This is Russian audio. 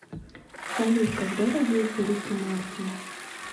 салют когда родился рики мартин